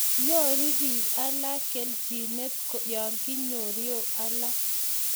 nyoru biik alak keljinet ya kinyorio alak